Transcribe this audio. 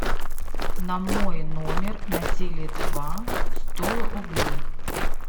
на мой номер на теле два сто рублей